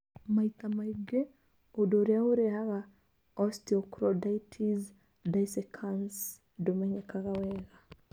Maita maingĩ, ũndũ ũrĩa ũrehaga osteochondritis dissecans ndũmenyekaga wega.